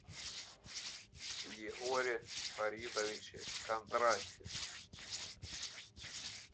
егоре фаридовиче кондратьеве